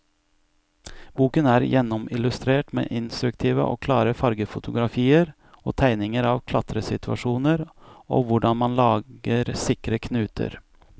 Boken er gjennomillustrert med instruktive og klare fargefotografier og tegninger av klatresituasjoner og hvordan man lager sikre knuter.